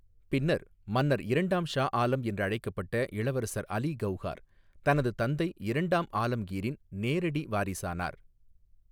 பின்னர் மன்னர் இரண்டாம் ஷா ஆலம் என்று அழைக்கப்பட்ட இளவரசர் அலி கவுஹார், தனது தந்தை இரண்டாம் ஆலம்கீரின் நேரடி வாரிசானார்.